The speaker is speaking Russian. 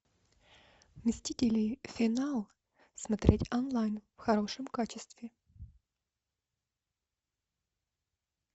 мстители финал смотреть онлайн в хорошем качестве